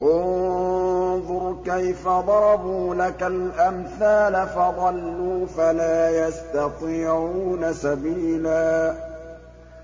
انظُرْ كَيْفَ ضَرَبُوا لَكَ الْأَمْثَالَ فَضَلُّوا فَلَا يَسْتَطِيعُونَ سَبِيلًا